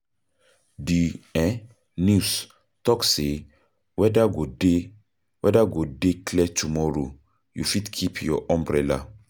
Di um news tok sey weather go dey weather go dey clear tomorrow, you fit keep your umbrella.